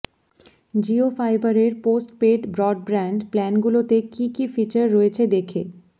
জিও ফাইবারের postpaid broadband প্ল্যানগুলোতে কী কী ফিচার রয়েছে দেখে